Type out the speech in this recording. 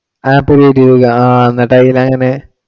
App create ചെയ്തു ആ എന്നിട്ടു അങ്ങിനെ അങ്ങിനെ